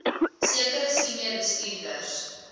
sekere senior bestuurders